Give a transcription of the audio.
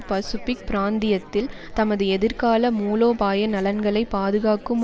Pacific பிராந்தியத்தில் தமது எதிர்கால மூலோபாய நலன்களை பாதுகாக்கும்